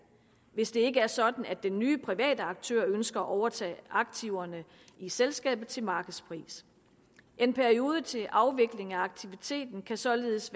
hvis det ikke er sådan at den nye private aktør ønsker at overtage aktiverne i selskabet til markedspris en periode til afvikling af aktiviteten kan således